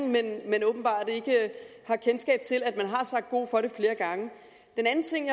men åbenbart ikke har kendskab til at man har sagt god for det flere gange den anden ting